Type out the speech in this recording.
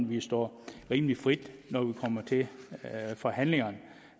vi står rimelig frit når vi kommer til forhandlingerne